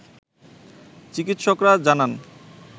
চিকিৎসকরা জানান